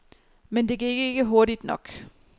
Men det gik ikke hurtigt nok.